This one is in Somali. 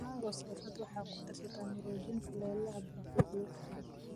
Mango salsa waxay ku darsataa maroojin kulaylaha barbecue.